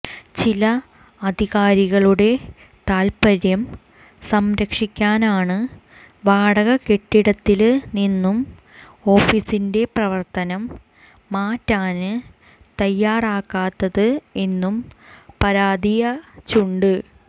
ചില അധികാരികളുടെ താല്പ്പര്യം സംരക്ഷിക്കാനാണ് വാടകകെട്ടിടത്തില്നിന്ന് ഓഫീസിന്റെ പ്രവര്ത്തനം മാറ്റാന് തയാറാകാത്തത് എന്നും പരാതിയചുണ്ട്